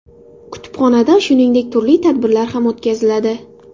Kutubxonada shuningdek, turli tadbirlar ham o‘tkaziladi.